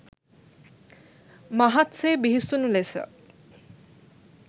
මහත් සේ බිහිසුණු ලෙස